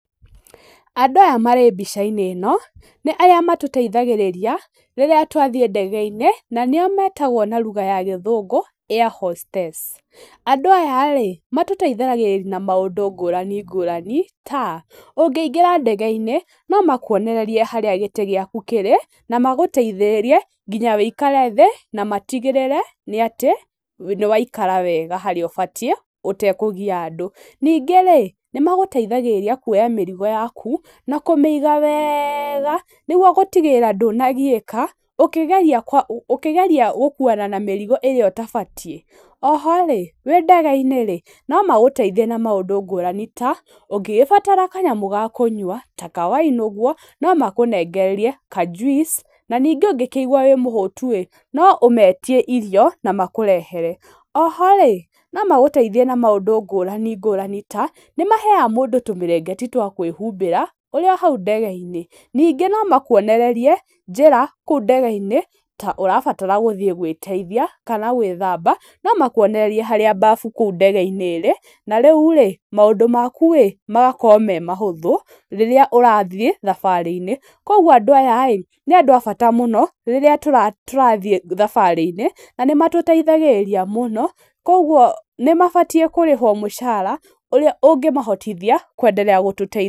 Andũ aya marĩ mbica-inĩ ĩno nĩ arĩa matũteithagĩrĩria rĩrĩa twathiĩ ndege-inĩ na nĩo metagwo na ruga ya gĩthũngũ airhostess. Andũ aya rĩ matũteithagĩrĩria na maũndũ ngũrani ngũrani ta, ũngĩingĩra ndege-inĩ no makuonererie harĩa gĩtĩ gĩaku kĩrĩ na agũteithĩrĩrie nginya ũikare thĩ, na matigĩrĩre atĩ nĩwaikara wega harĩa ũbatiĩ ũtekũgia andũ. Ningĩ nĩmagũteithagĩrĩria kuoya mĩrigo yaku na kũmĩiga wega nĩguo gũtigĩrĩra ndũnagiĩka ũkĩgeria gũkuana na mĩrigo ĩrĩa ũtabatiĩ. Oho wĩ ndege-inĩ no magũteithie na maũndũ ngũrani ta ũngĩbatara kanyamũ ga kũnyua ta kawaini ũguo no makũnengererie kajuici na ningĩ ũngĩigwa wĩmũhũtu-rĩ no ũmeitie irio na makũrehere. Oho rĩ no magũteithie na maũndũ ngũrani ngũrani ta nĩmaheyaga mũndũ tũmĩrengeti twa kwĩhumbĩra ũrĩ o hau ndege-inĩ. Ningĩ no makuonererie njĩra kũu ndege-inĩ ta ũrabatara gũthiĩ gwĩteithia kana gwĩthamba no makuonererie harĩa mbafu kũu ndege-inĩ ĩrĩ na rĩu maũndũ maku rĩ magakorwo marĩ mahũtũ rĩrĩa ũrathiĩ thabarĩ-inĩ. Koguo andũ aya nĩ andũ a bata mũno rĩrĩa tũrathiĩ thabarĩ-inĩ na nĩmatuteithagĩrĩria mũno koguo nĩmabatiĩ kũrĩhwo mũcara ũrĩa ũngĩtũhotithia kwenderea. gũtuteithia.